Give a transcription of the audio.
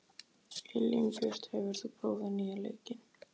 Elínbjört, hefur þú prófað nýja leikinn?